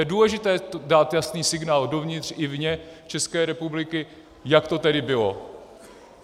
Je důležité dát jasný signál dovnitř i vně České republiky, jak to tedy bylo.